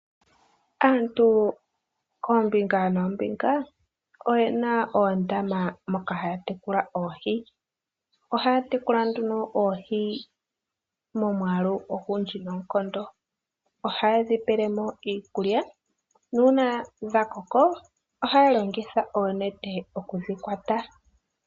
Aantu koombinga noombinga oyena oondama moka haya tekula oohi. Ohaya tekula oohi momwaalu ogundji noonkondo, ohaye dhipelemo iikulya nuuna dha koka ohaya longitha oonete oku dhiyulamo.